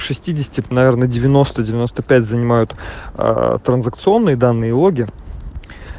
шестидесяти наверное девяносто девяносто пять занимают транзакционные данные логи